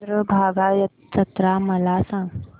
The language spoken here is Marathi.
चंद्रभागा जत्रा मला सांग